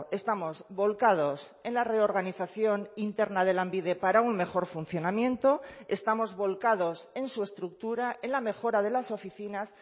estamos volcados en la reorganización interna de lanbide para un mejor funcionamiento estamos volcados en su estructura en la mejora de las oficinas